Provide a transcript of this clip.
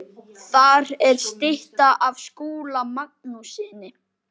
Þar er stytta af Skúla Magnússyni.